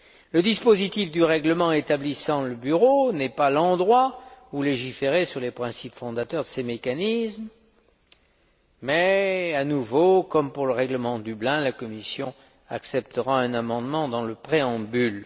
Le dispositif du règlement établissant le bureau n'est pas l'endroit où légiférer sur les principes fondateurs de ces mécanismes mais, à nouveau, comme pour le règlement de Dublin, la Commission acceptera un amendement dans le préambule.